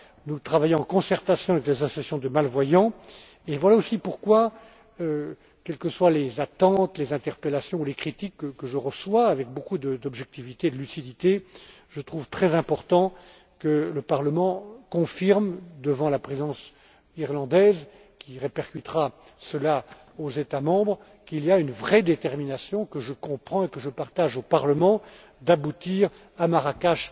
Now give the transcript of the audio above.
ce mandat. Nous travaillons en concertation avec les associations de malvoyants et voilà aussi pourquoi, quelles que soient les attentes, les interpellations ou les critiques que je reçois, avec beaucoup d'objectivité et de lucidité, je trouve très important que le Parlement confirme, devant la présidence irlandaise, qui répercutera cela aux États membres, qu'il y a une vraie détermination, que je comprends et que je partage, au Parlement, à aboutir à un succès à